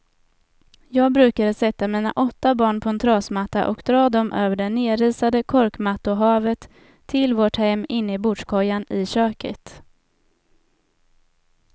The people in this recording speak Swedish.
Jag brukade sätta mina åtta barn på en trasmatta och dra dem över det nerisade korkmattohavet till vårt hem inne i bordskojan i köket.